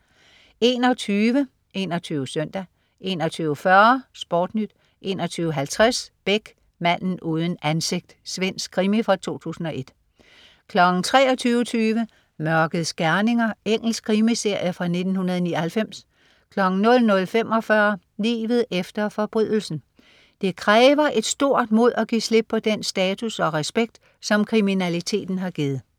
21.00 21 Søndag 21.40 SportNyt 21.50 Beck. Manden uden ansigt. Svensk krimi fra 2001 23.20 Mørkets gerninger. Engelsk krimiserie fra 1999 00.45 Livet efter forbrydelsen. Det kræver et stort mod at give slip på den status og respekt, som kriminaliteten har givet